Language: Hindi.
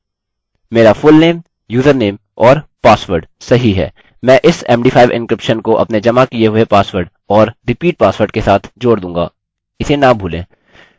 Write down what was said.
मैं इस md5 encryption को अपने जमा किये हुए पासवर्ड और repeat password के साथ जोड़ दूँगा